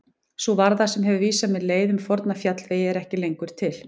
Sú varða sem hefur vísað mér leið um forna fjallvegi er ekki lengur til.